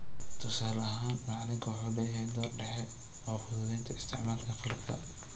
Tusaalahan, macalinku wuxuu leeyahay door dhexe oo fududaynta isticmaalka qalabka.